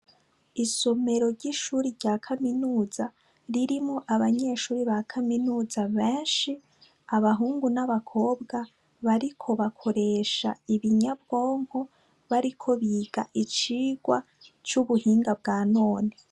Isomero ry'ishure rya kaminuza ririmwo abanyeshure ba kaminuza benshi, abahungu n'abakobwa bariko bakoreha ibinyabwonko bariko biga icigwa c'ubuhinga bwa none.